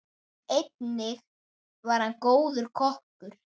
Einnig var hann góður kokkur.